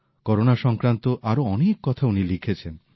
corona সংক্রান্ত আরও অনেক কথা উনি লিখেছেন